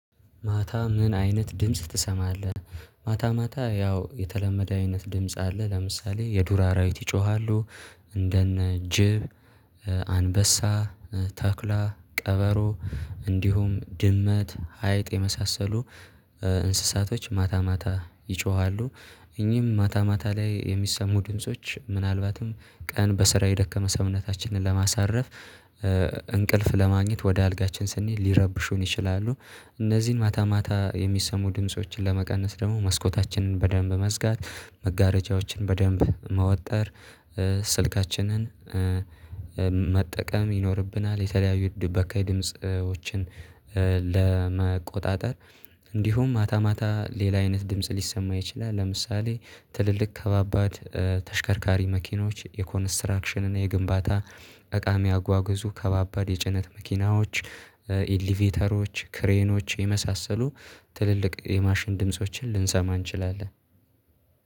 ማታ ምን አይነት ድምጽ ትሰማለህ? ማታ ማታ ያው የተለመደ አይነት ድምጽ አለ ለምሳሌ የዱር አራዊት ይጮሃሉ። እንደነ ጅብ አንበሳ ተኩላ ቀበሮ እንዲሁም ድመት አይጥ የመሳሰሉ እንስሳቶች ማታ ማታ ይጮሃሉ። እኚህም ማታ ማታ ላይ የሚሰሙ ድምጾች ምናልባትም ቀን በስራ የደከመ ሰውነታችንን ለማሳረፍ እንቅልፍ ለማግኘት ወደ አልጋችን ስንሄድ ሊረብሹን ይችላሉ። እነዚህን ማታ ማታ የሚሰሙ ድምፆችን ለመቀነስ ደግሞ መስኮታችንን በደንብ መዝጋት መጋረጃዎችን በደንብ መወጠር ስልካችንን መጠቀም ይኖርብናል። የተለያዩ በካይ ድምጽዎችን ለመቆጣጠር እንዲሁም ማታ ማታ ሌላ አይነት ድምጽ ሊሰማ ይችላል። ለምሳሌ ትልልቅ ከባባድ ተሽከርካሪ መኪኖች የኮንስትራክሽን እና የግንባታ እቃ የሚያጓጉዙ ከባባድ የጭነት መኪናዎች ኢሊቬተሮች ክሬኖች የመሳሰሉ ትልልቅ የማሽን ድምፆችን ልንሰማ እንችላለን።